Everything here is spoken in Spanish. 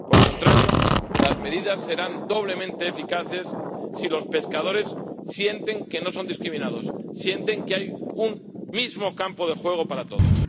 Por el contrario, las medidas serán doblemente eficaces si los pescadores sienten que no son discriminados, si sienten que hay un mismo campo de juego para todos.